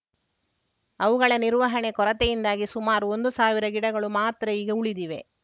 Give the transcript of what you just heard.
ಅವುಗಳ ನಿರ್ವಹಣೆ ಕೊರತೆಯಿಂದಾಗಿ ಸುಮಾರು ಒಂದು ಸಾವಿರ ಗಿಡಗಳು ಮಾತ್ರ ಈಗ ಉಳಿದಿವೆ